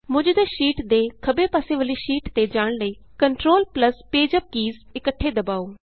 ਮੌਜੂਦਾ ਸ਼ੀਟ ਦੇ ਖੱਬੇ ਪਾਸੇ ਵਾਲੀ ਸ਼ੀਟ ਤੇ ਜਾਣ ਲਈ control plus page UP keys ਇੱਕਠੇ ਦਬਾਉ